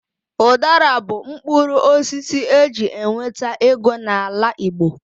Udara bụ mkpụrụ osisi eji enweta ego n'ala Igbo.